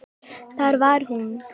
Þar var hún.